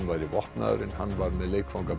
væri vopnaður en hann var með